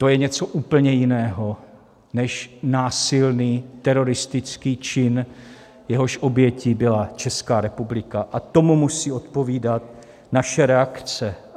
To je něco úplně jiného než násilný teroristický čin, jehož obětí byla Česká republika, a tomu musí odpovídat naše reakce.